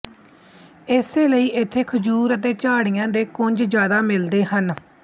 ਇਸੇ ਲਈ ਇੱਥੇ ਖਜੂਰ ਅਤੇ ਝਾੜੀਆਂ ਦੇ ਕੁੰਜ ਜ਼ਿਆਦਾ ਮਿਲਦੇ ਹਨ